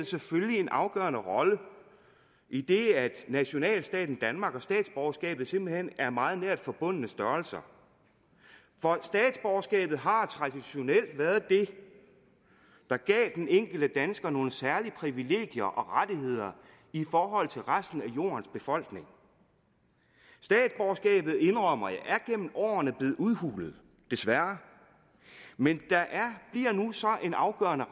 selvfølgelig en afgørende rolle idet nationalstaten danmark og statsborgerskabet simpelt hen er meget nært forbundne størrelser for statsborgerskabet har traditionelt været det der gav den enkelte dansker nogle særlige privilegier og rettigheder i forhold til resten af jordens befolkning statsborgerskabet indrømmer jeg er gennem årene blevet udhulet desværre men der bliver nu en afgørende